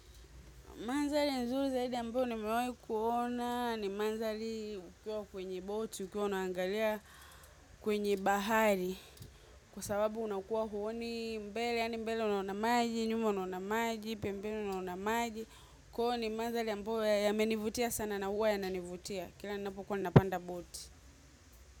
Manzali nzuri zaidi ambayo nimewai kuona ni manzali ukiwa kwenye boti, ukiwa unaangalia kwenye bahari. Kwa sababu unakuwa huoni mbele, yani mbele unaona maji, nyuma unaona maji, pembeni unaona maji. Kwa huo ni manzali ambayo yamenivutia sana na huwa yananivutia. Kila napokuwa napanda boti.